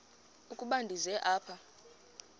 ukuba ndize apha